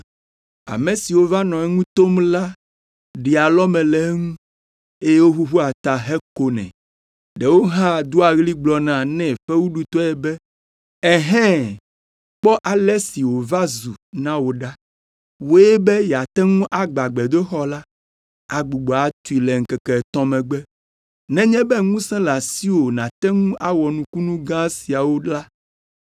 Ame siwo va nɔ eŋu tom la ɖea alɔme le eŋu, eye woʋuʋua ta hekonɛ. Ɖewo hã doa ɣli gblɔna nɛ fewuɖutɔe be, “Ɛhɛ̃! Kpɔ ale si wòva zu na wò ɖa! Wòe be yeate ŋu agbã gbedoxɔ la, agbugbɔ atui le ŋkeke etɔ̃ megbe. Nenye be ŋusẽ le asiwò nàte ŋu awɔ nukunu gã siawo la,